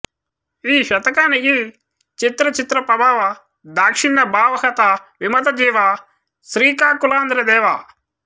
ఈ శతకానికి చిత్ర చిత్ర ప్రభావ దాక్షిణ్యభావహత విమతజీవ శ్రీకాకుళాంధ్రదేవ